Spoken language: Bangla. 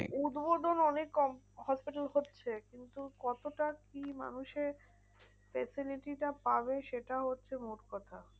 উদ্বোধন অনেক hospital হচ্ছে। কিন্তু কতটা কি মানুষের facility টা পাবে? সেটা হচ্ছে মোট কথা।